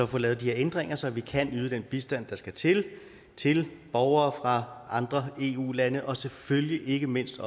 får lavet de her ændringer så vi kan yde den bistand der skal til til borgere fra andre eu lande og selvfølgelig ikke mindst